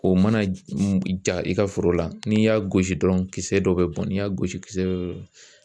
O mana ja i ka foro la ,n'i y'a gosi dɔrɔn kisɛ dɔ be bɔn ,n'i y'a gosi kisɛ dɔ bɛ bon.